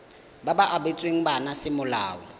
ba ba abetsweng bana semolao